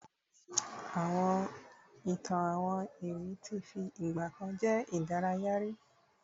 ìtàn àwọn iwin ti fi igbakan je idaraya ri